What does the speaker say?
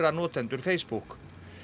notendur Facebook